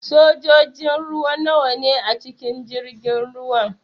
Sojojin ruwa nawa ne a cikin jirgin ruwan?